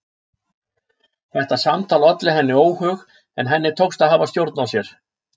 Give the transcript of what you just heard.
Þetta samtal olli henni óhug en henni tókst að hafa stjórn á sér.